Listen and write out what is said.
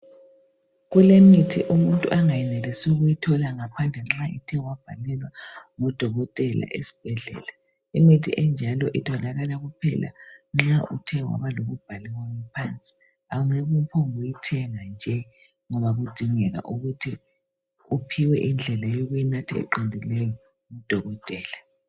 Kulemithi umuntu angayenelisi ukuyithola ngaphandle nxa ethe wabhalelwa ngodokotela esibhedlela. Imithi enjalo itholakala kuphela nxa uthe waba lokubhalelwa phansi. Awungeke uphonge ukuyithenga nje ngoba kudingeka ukuthi uphiwe indlela yokuyinatha eqinileyo ngudokotela.